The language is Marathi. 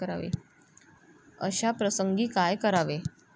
अशा प्रसंगी काय करावे?